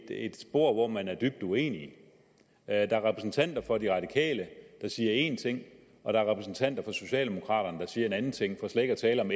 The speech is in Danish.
er et spor hvor man er dybt uenige der er repræsentanter for de radikale der siger én ting og der er repræsentanter for socialdemokraterne der siger en anden ting for slet ikke at tale om